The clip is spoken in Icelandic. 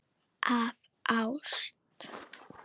Af ást.